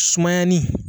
Sumayani